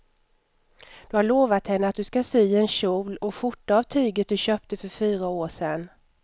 Du har lovat henne att du ska sy en kjol och skjorta av tyget du köpte för fyra år sedan.